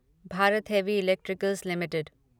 Bharat Heavy Electricals limited